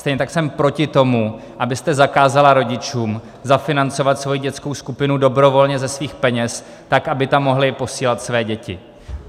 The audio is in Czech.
Stejně tak jsem proti tomu, abyste zakázala rodičům zafinancovat svoji dětskou skupinu dobrovolně ze svých peněz, tak aby tam mohli posílat své děti.